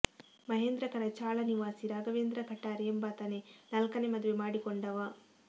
ಮಹೇಂದ್ರಕರ ಚಾಳ ನಿವಾಸಿ ರಾಘವೇಂದ್ರ ಕಠಾರೆ ಎಂಬಾತನೇ ನಾಲ್ಕನೇ ಮದುವೆ ಮಾಡಿಕೊಂಡವ